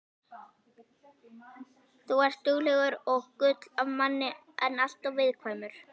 Þú ert duglegur og gull af manni en alltof viðkvæmur.